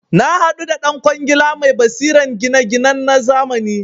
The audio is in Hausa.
Nahadu da dan kwangila mai basiran gina ginan nazamani